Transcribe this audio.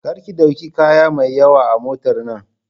Kar ki ɗauki kaya mai yawa a motar nan!